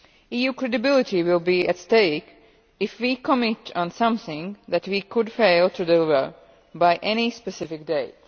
EU credibility will be at stake if we commit to something that we could fail to deliver by any specific date.